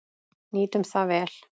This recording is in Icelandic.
Nýtum það vel.